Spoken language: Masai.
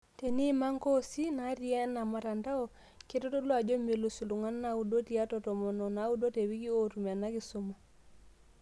Teniima nkoosi naati ena mtandao, keitodolu ajo melus iltung'anak naudo tiatua tomon onaudo tewiki ootum ena kisuma.